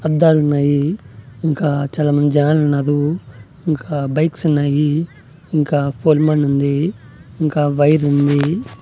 అద్దాలున్నాయి ఇంకా చాలామంది జనాలున్నాదు ఇంకా బైక్సున్నాయి ఇంకా ఫోల్మాన్ ఉంది ఇంకా వైరుంది .